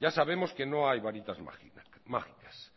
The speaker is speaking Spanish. ya sabemos que no hay varitas mágicas